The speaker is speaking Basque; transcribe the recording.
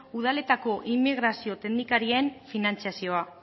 udaletako immigrazio teknikarien finantzazioa